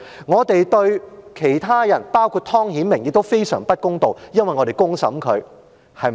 我們對其他人，包括湯顯明，亦非常不公道，因為我們公審他。